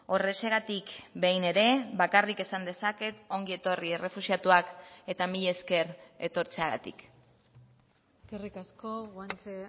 horrexegatik behin ere bakarrik esan dezaket ongi etorri errefuxiatuak eta mila esker etortzeagatik eskerrik asko guanche